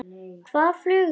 Hvað flugu þeir langt?